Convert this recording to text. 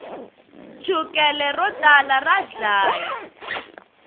chukele ro tala ra dlaya